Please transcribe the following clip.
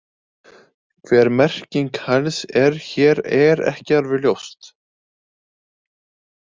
Hver merking hæls er hér er ekki alveg ljóst.